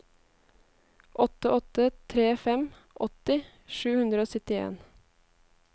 åtte åtte tre fem åtti sju hundre og syttien